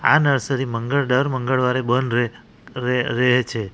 આ નર્સરી મંગળ દર મંગળવારે બંધ રહે રે રહે છે.